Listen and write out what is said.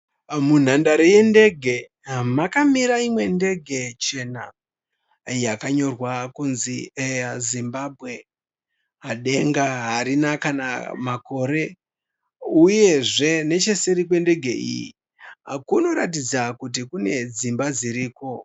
Munhandare yendege makamira imwe ndege chena yakanyorwa kunzi 'Air Zimbabwe '. Denga harina kana makore, uyezve necheseri kwendege iyi kunoratidza kuti kune dzimba dziriko.